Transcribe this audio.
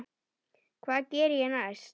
Hvað geri ég næst?